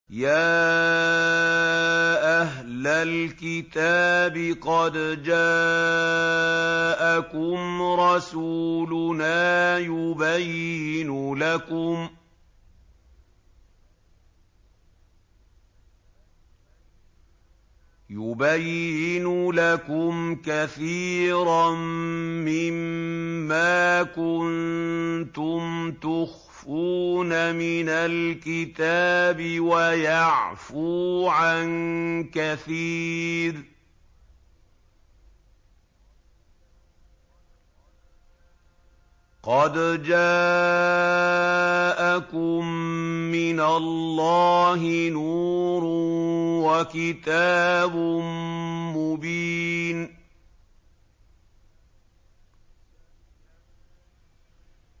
يَا أَهْلَ الْكِتَابِ قَدْ جَاءَكُمْ رَسُولُنَا يُبَيِّنُ لَكُمْ كَثِيرًا مِّمَّا كُنتُمْ تُخْفُونَ مِنَ الْكِتَابِ وَيَعْفُو عَن كَثِيرٍ ۚ قَدْ جَاءَكُم مِّنَ اللَّهِ نُورٌ وَكِتَابٌ مُّبِينٌ